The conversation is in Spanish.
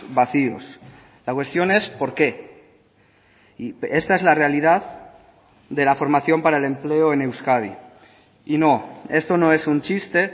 vacíos la cuestión es por qué y esta es la realidad de la formación para el empleo en euskadi y no esto no es un chiste